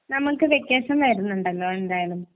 നമുക്ക് വെകേഷൻ വരുന്നുണ്ടല്ലോ എന്തായാലും ക്രിസ്മസ് അല്ലെ